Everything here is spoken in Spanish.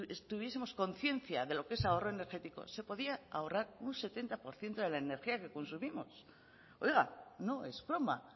tuviesemos conciencia de lo que es ahorro energético se podría ahorrar un setenta por ciento de la energía que consumimos oiga no es broma